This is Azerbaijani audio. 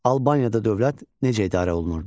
Albaniyada dövlət necə idarə olunurdu?